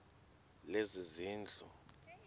lezezindlu